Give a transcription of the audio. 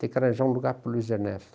Tem que arranjar um lugar para o Luiz Ernest.